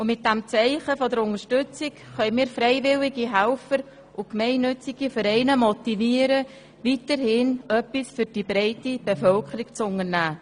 Mit diesem Zeichen der Unterstützung können wir freiwillige Helfer und gemeinnützige Vereine motivieren, weiterhin etwas für die breite Bevölkerung zu unternehmen.